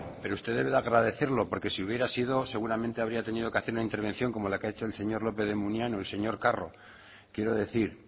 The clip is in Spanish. pero usted debe de agradecerlo porque si hubiera sido seguramente habría tenido que hacer una intervención como ha hecho el señor lópez de munain o el señor carro quiero decir